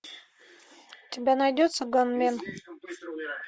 у тебя найдется ганмен